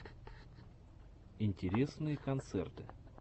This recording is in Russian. интересные концерты